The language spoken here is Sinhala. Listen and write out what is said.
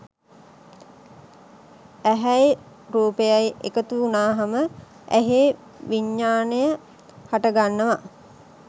ඇහැයි රූපයයි එකතු වුනහම ඇහේ විඤ්ඤාණය හටගන්නවා